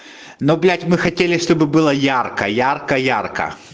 но блядь мы хотели чтобы было ярко ярко ярко